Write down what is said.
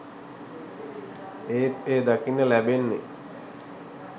ඒත් එය දකින්න ලැබෙන්නේ